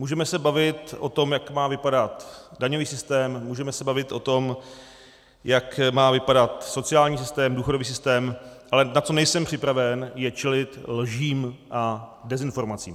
Můžeme se bavit o tom, jak má vypadat daňový systém, můžeme se bavit o tom, jak má vypadat sociální systém, důchodový systém, ale na co nejsem připraven, je čelit lžím a dezinformacím.